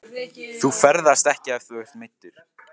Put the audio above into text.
Þú ferðast ekki ef þú ert meiddur.